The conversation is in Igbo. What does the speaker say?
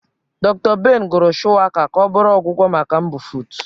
Dr. Ben gụrụ shuwaka ka ọ bụrụ ọgwụgwọ maka mbufụt.